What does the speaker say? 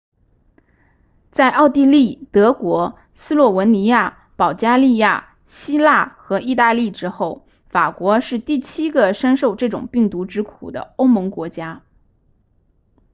在奥地利德国斯洛文尼亚保加利亚希腊和意大利之后法国是第七个深受这种病毒之苦的欧盟国家